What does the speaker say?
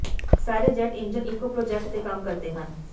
ਸਾਰੇ jet engine ਇੱਕੋ project ਤੇ ਕੰਮ ਕਰਦੇ ਹਨ